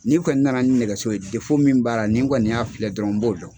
N'i kɔni nana ni nɛgɛso ye min baara ni n kɔni y'a filɛ dɔrɔn n b'o dɔn.